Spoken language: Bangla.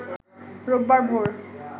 রোববার ভোর